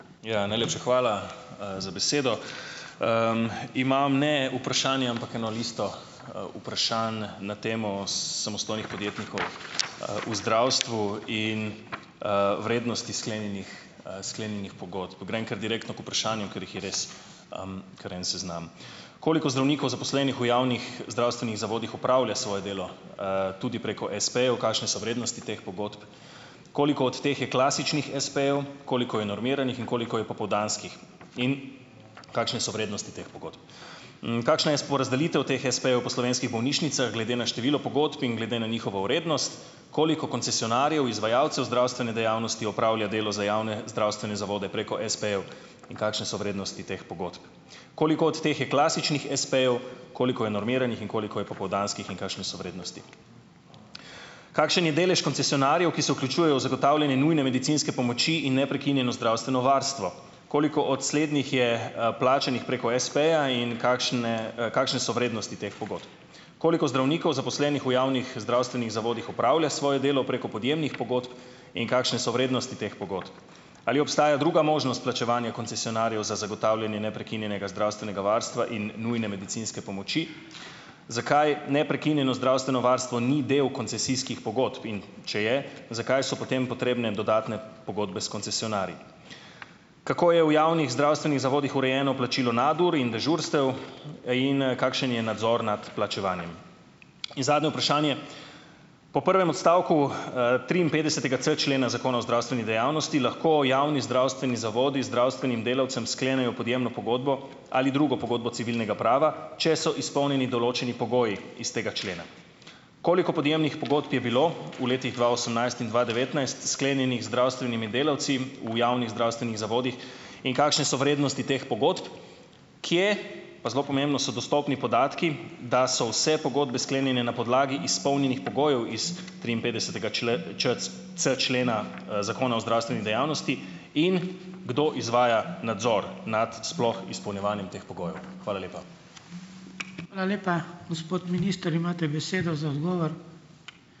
Ja, najlepša hvala, za besedo. Imam ne vprašanje, ampak eno listo, vprašanj na temo samostojnih podjetnikov, v zdravstvu in, vrednosti sklenjenih, sklenjenih pogodb. Grem kar direktno k vprašanju, ker jih je res, kar en seznam: Koliko zdravnikov, zaposlenih v javnih zdravstvenih zavodih, opravlja svoje delo, tudi preko espejev? Kakšne so vrednosti teh pogodb? Koliko od teh je klasičnih espejev, koliko je normiranih in koliko je popoldanskih in kakšne so vrednosti teh pogodb? Kakšna je porazdelitev teh espejev po slovenskih bolnišnicah glede na število pogodb in glede na njihovo vrednost? Koliko koncesionarjev, izvajalcev zdravstvene dejavnosti opravlja delo za javne zdravstvene zavode preko espejev in kakšne so vrednosti teh pogodb? Koliko od teh je klasičnih espejev, koliko je normiranih in koliko je popoldanskih in kakšne so vrednosti? Kakšen je delež koncesionarjev, ki se vključujejo v zagotavljanje nujne medicinske pomoči in neprekinjeno zdravstveno varstvo? Koliko od slednjih je, plačanih preko espeja in kakšne, kakšne so vrednosti teh pogodb? Koliko zdravnikov, zaposlenih v javnih zdravstvenih zavodih, opravlja svoje delo preko podjemnih pogodb in kakšne so vrednosti teh pogodb? Ali obstaja druga možnost plačevanja koncesionarjev za zagotavljanje neprekinjenega zdravstvenega varstva in nujne medicinske pomoči? Zakaj neprekinjeno zdravstveno varstvo ni del koncesijskih pogodb, in če je, zakaj so potem potrebne dodatne pogodbe s koncesionarji? Kako je v javnih zdravstvenih zavodih urejeno plačilo nadur in dežurstev in, kakšen je nadzor nad plačevanjem? In zadnje vprašanje. Po prvem odstavku, triinpetdesetega c člena Zakona o zdravstveni dejavnosti lahko javni zdravstveni zavodi zdravstvenim delavcem sklenejo podjemno pogodbo, ali drugo pogodbo civilnega prava, če so izpolnjeni določeni pogoji iz tega člena? Koliko podjemnih pogodb je bilo v letih dva osemnajst in dva devetnajst sklenjenih z zdravstvenimi delavci v javnih zdravstvenih zavodih in kakšne so vrednosti teh pogodb? Kje, pa zelo pomembno, so dostopni podatki, da so vse pogodbe sklenjene na podlagi izpolnjenih pogojev iz triinpetdesetega c c člena, Zakona o zdravstveni dejavnosti? In kdo izvaja nadzor nad sploh izpolnjevanjem teh pogojev? Hvala lepa.